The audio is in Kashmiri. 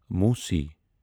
موسی